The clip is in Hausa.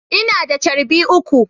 Ina da charbi uku.